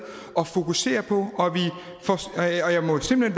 at fokusere på jeg må simpelt